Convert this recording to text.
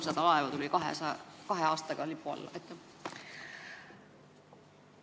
Siin on ka kirjas, et kahe aastaga tuli nende lipu alla 300 laeva.